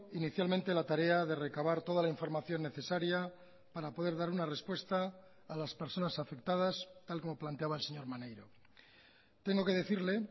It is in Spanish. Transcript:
inicialmente la tarea de recabar toda la información necesaria para poder dar una respuesta a las personas afectadas tal como planteaba el señor maneiro tengo que decirle